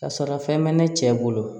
Ka sɔrɔ fɛn bɛ ne cɛ bolo